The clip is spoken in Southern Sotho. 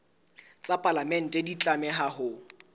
tsa palamente di tlameha ho